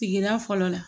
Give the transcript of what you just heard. Sigida fɔlɔ la